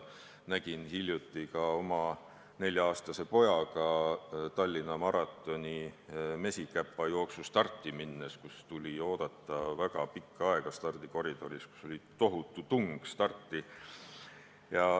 Nägin seda hiljuti ka oma 4-aastase pojaga Tallinna maratoni Mesikäpa jooksu starti minnes: meil tuli stardikoridoris väga kaua oodata, sest starti oli tohutu tung.